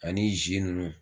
Ani ninnu